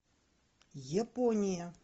япония